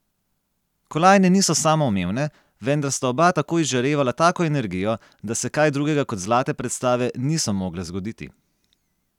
Kolajne niso samoumevne, vendar sta oba tako izžarevala tako energijo, da se kaj drugega kot zlate predstave niso mogle zgoditi.